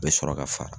Bɛ sɔrɔ ka fara